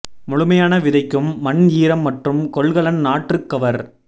முழுமையான விதைக்கும் மண் ஈரம் மற்றும் கொள்கலன் நாற்று கவர்